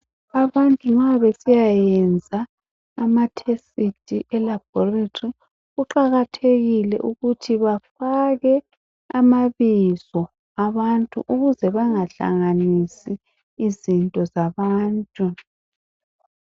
Abantu nxa besiyayenza amatesti elabhoretri kuqakathekile ukuthi bafake amabizo abantu ukuze bangahlanganisi izinto zabantu.